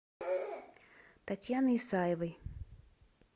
татьяны исаевой